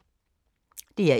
DR1